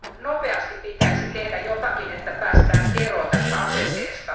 Nopeasti pitäisi tehdä jotakin, että päästään eroon tästä asenteesta.